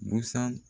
Busan